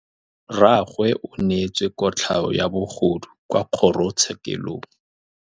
Rragwe o neetswe kotlhaô ya bogodu kwa kgoro tshêkêlông.